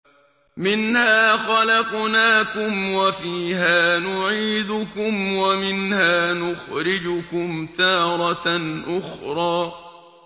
۞ مِنْهَا خَلَقْنَاكُمْ وَفِيهَا نُعِيدُكُمْ وَمِنْهَا نُخْرِجُكُمْ تَارَةً أُخْرَىٰ